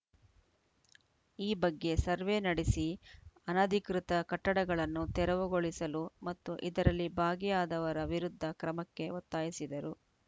ಈ ಬಗ್ಗೆ ಸರ್ವೇ ನಡೆಸಿ ಅನಧಿಕೃತ ಕಟ್ಟಡಗಳನ್ನು ತೆರವುಗೊಳಿಸಲು ಮತ್ತು ಇದರಲ್ಲಿ ಭಾಗಿಯಾದವರ ವಿರುದ್ಧ ಕ್ರಮಕ್ಕೆ ಒತ್ತಾಯಿಸಿದರು